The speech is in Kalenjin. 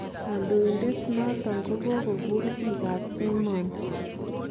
Kodoin'det noton kokokur bik kap emoni